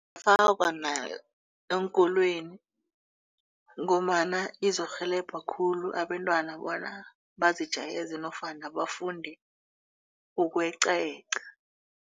Ingafakwa eenkolweni ngombana izokurhelebha khulu abentwana bona bazijayeze nofana bafunde ukweqayeqa.